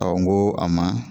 n go a ma